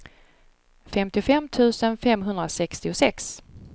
femtiofem tusen femhundrasextiosex